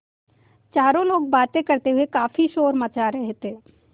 चारों लोग बातें करते हुए काफ़ी शोर मचा रहे थे